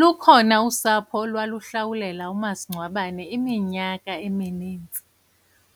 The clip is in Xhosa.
Lukhona usapho olwaluhlawulela umasingcwabane iminyaka eminintsi,